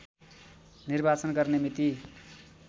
निर्वाचन गर्ने मिति